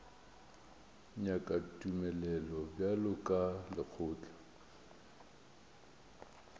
nyakago tumelelo bjalo ka lekgotla